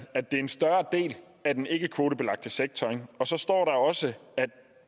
at det er en større del af den ikkekvotebelagte sektor og så står der også at